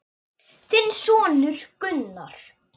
Þinn sonur Gunnar.